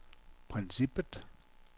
princippet